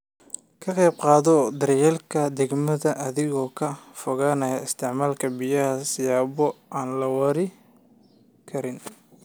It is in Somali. Ka qayb qaado daryeelka deegaanka adiga oo ka fogaanaya isticmaalka biyaha siyaabo aan la waari karin.